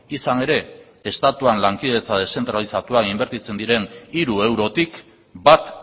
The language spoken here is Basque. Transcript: izan ere estatuan lankidetza deszentralizatuan inbertitzen diren hiru eurotik bat